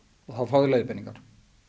og þá fá þeir leiðbeiningar